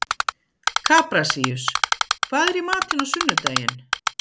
Kaprasíus, hvað er í matinn á sunnudaginn?